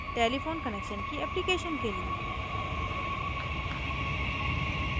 telephone connection की application के लिए